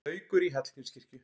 Haukur í Hallgrímskirkju